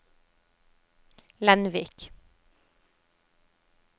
Lenvik